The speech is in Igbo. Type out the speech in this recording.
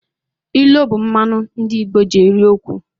Ilu bụ mmanụ ndị Igbo ji eri okwu.